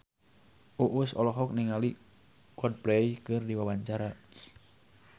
Uus olohok ningali Coldplay keur diwawancara